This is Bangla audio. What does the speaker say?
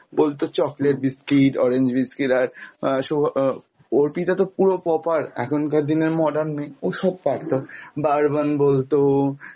বলতো chocolate biscuit, orange biscuit আর আহ সৌ আহ অর্পিতা তো পুরো proper এখনকার দিনের modern মেয়ে ও সব পারতো bourbon বলতো,